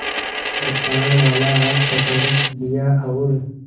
कृपाणवाला हाथ पकड़ लिया और